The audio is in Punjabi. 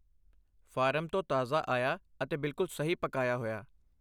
ਫਾਰਮ ਤੋਂ ਤਾਜ਼ਾ ਆਇਆ ਅਤੇ ਬਿਲਕੁਲ ਸਹੀ ਪਕਾਇਆ ਹੋਇਆ।